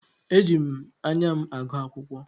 Eji m anya m agụ akwụkwọ.